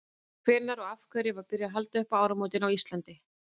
hvenær og af hverju var byrjað að halda upp á áramótin á íslandi